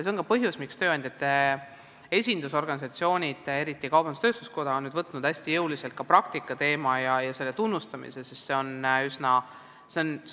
See on ka põhjus, miks tööandjate esindusorganisatsioonid, eriti kaubandus-tööstuskoda, on võtnud hästi jõuliselt praktikateema ja selle eest tunnustamise kõne alla.